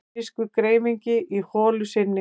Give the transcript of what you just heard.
Amerískur greifingi í holu sinni.